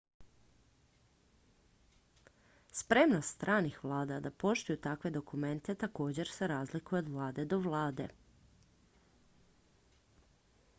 spremnost stranih vlada da poštuju takve dokumente također se razlikuje od vlade do vlade